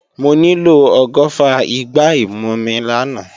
Mo nílò ọgọ́fà igbá ìmumi làná